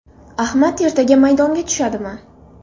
Ahmad ertaga maydonga tushadimi?